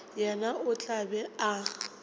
yena o tla be a